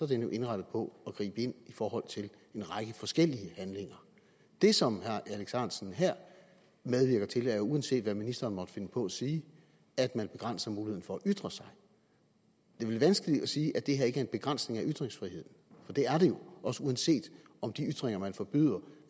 den jo indrettet på at gribe ind i forhold til en række forskellige handlinger det som herre alex ahrendtsen her medvirker til er uanset hvad ministeren måtte finde på at sige at man begrænser muligheden for at ytre sig det er vel vanskeligt at sige at det her ikke er en begrænsning af ytringsfriheden for det er det jo også uanset om de ytringer man forbyder